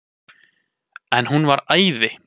En hún var æði.